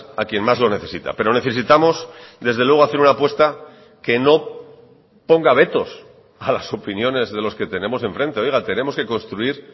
a quien más lo necesita pero necesitamos desde luego hacer una apuesta que no ponga vetos a las opiniones de los que tenemos en frente oiga tenemos que construir